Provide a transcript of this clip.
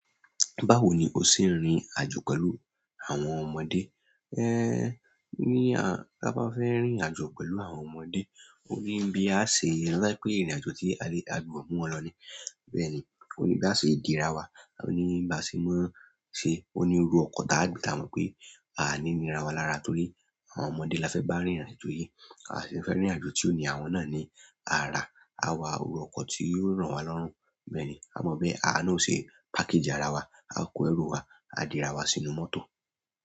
Báwo ni o ṣe ń rìn àjò pẹ̀lú àwọn ọmọdé? Ehn, ní à, tá bá fẹ́ rìn irìn àjò pẹ̀lú àwọn ọmọdé, ó ní bí a ṣe re pé ìrìnàjò tí a lè agbudo mu wọ́n lọ ní. Bẹ́ẹ̀ni, ó ní bí a ṣe dìra wa, ó ní bí a ṣe máa ṣe, ó ní iru ọkọ̀ táa gbì, táa mọ pé a ní nira wa lára torí àwọn ọmọdé la fẹ́ bá rìnrìn àjò yìí. A sì fẹ́ rìn àjò tí ó ní àwọn náà ní, a rá, a wà iru ọkọ̀ tí yóò ro wa lọ́run. Bẹ́ẹ̀ni, a mọ bí a awá na o ṣe package ara wa, a kó ẹrú wa, a dìra wa sínú mọ́tò.